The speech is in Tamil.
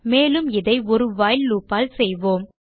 மேலும் இதை ஒரு வைல் லூப் ஆல் செய்வோம்